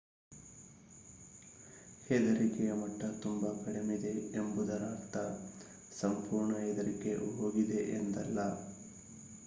ಹೆದರಿಕೆಯ ಮಟ್ಟ ತುಂಬಾ ಕಡಿಮೆಯಿದೆ ಎಂಬುದರ ಅರ್ಥ ಸಂಪೂರ್ಣ ಹೆದರಿಕೆ ಹೋಗಿದೆ ಎಂದಲ್ಲ